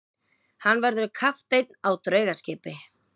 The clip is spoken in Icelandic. Hann verður kapteinn á draugaskipi.